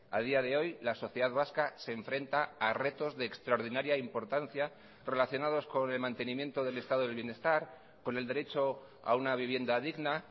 a día de hoy la sociedad vasca se enfrenta a retos de extraordinaria importancia relacionados con el mantenimiento del estado del bienestar con el derecho a una vivienda digna